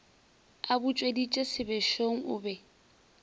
a butšweditše sebešong o be